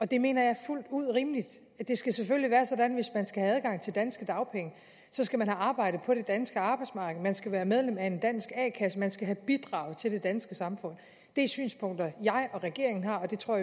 det mener jeg er fuldt ud rimeligt det skal selvfølgelig være sådan hvis man skal have adgang til dansk dagpenge skal have arbejdet på det danske arbejdsmarked man skal være medlem af en dansk a kasse og man skal have bidraget til det danske samfund det er synspunkter jeg og regeringen har det tror